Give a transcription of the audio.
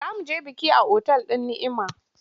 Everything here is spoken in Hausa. Za mu je biki a otal din Ni’ima.